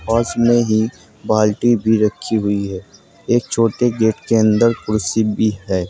पास में ही बाल्टी भी रखी हुई है एक छोटे गेट के अंदर कुर्सी भी है।